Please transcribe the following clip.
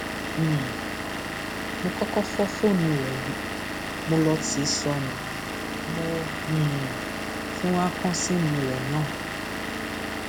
um mo kọkọ fọ fóònù rẹ mọ ló ti sọnù mo um tún wáá kàn síìmù rẹ náà